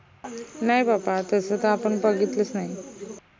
नाई बाबा तस त आपन बघितलंच नाई